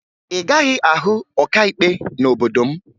Ị gaghị ahụ ọkaikpe n'obodo m